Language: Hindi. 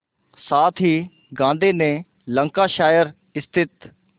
साथ ही गांधी ने लंकाशायर स्थित